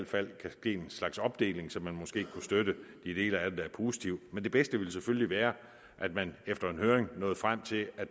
fald kan ske en slags opdeling så man måske kunne støtte de dele af det der er positive men det bedste ville selvfølgelig være at man efter en høring nåede frem til at